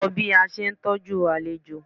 Ko bí a ṣe ń ṣe'tọ́jú àlejò.